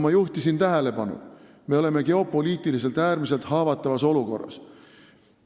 Ma juhtisin juba tähelepanu sellele, me oleme geopoliitiliselt äärmiselt haavatavas olukorras.